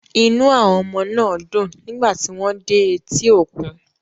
Inú àwọn ọmọ náà dùn nígbà tí wọ́n dé etí òkun.